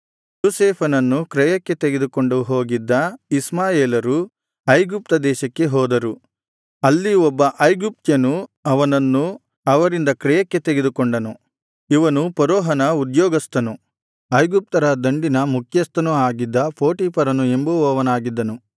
ಯೋಸೇಫನನ್ನು ಕ್ರಯಕ್ಕೆ ತೆಗೆದುಕೊಂಡು ಹೋಗಿದ್ದ ಇಷ್ಮಾಯೇಲರು ಐಗುಪ್ತ ದೇಶಕ್ಕೆ ಹೋದರು ಅಲ್ಲಿ ಒಬ್ಬ ಐಗುಪ್ತ್ಯನು ಅವನನ್ನು ಅವರಿಂದ ಕ್ರಯಕ್ಕೆ ತೆಗೆದುಕೊಂಡನು ಇವನು ಫರೋಹನ ಉದ್ಯೋಗಸ್ಥನು ಐಗುಪ್ತರ ದಂಡಿನ ಮುಖ್ಯಸ್ಥನು ಆಗಿದ್ದ ಪೋಟೀಫರನು ಎಂಬುವನಾಗಿದ್ದನು